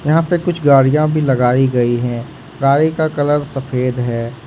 यहां पे कुछ गाड़ियां भी लगाई गई है गाड़ी का कलर सफेद है।